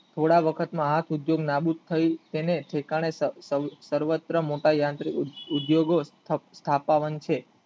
થોડા વખતમાં આ સુધોગ નાબૂદ થઈ તેને ઠેકાણે પર્વત્ર મોટા ઉદ્યોગો થતા રહેશે